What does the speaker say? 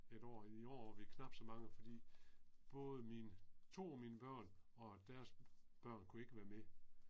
Et år i var vi knap så mange fordi både min 2 af mine børn og deres børn kunne ikke være med